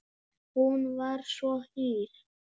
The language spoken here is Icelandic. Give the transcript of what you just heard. Hún var svo hýr.